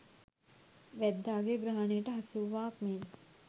වැද්දාගේ ග්‍රහණයට හසුවූවාක් මෙන්